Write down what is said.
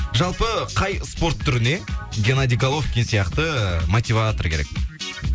жалпы қай спорт түріне геннадий головкин сияқты ыыы мотиватор керек